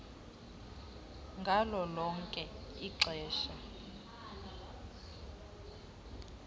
ngalo lonke ixesha